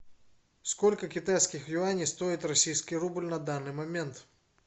сколько китайских юаней стоит российский рубль на данный момент